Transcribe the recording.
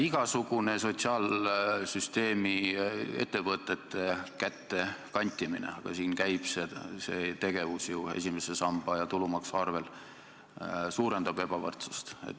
Igasugune sotsiaalsüsteemi ettevõtete kätte kantimine – aga siin käib see tegevus ju esimese samba ja tulumaksu arvel – suurendab ebavõrdsust.